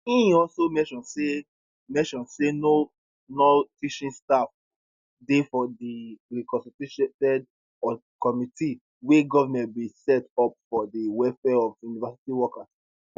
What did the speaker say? e also mention say mention say no nonteaching staff dey for di reconstituted committee wey goment bin set up for di welfare of university workers